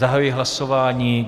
Zahajuji hlasování.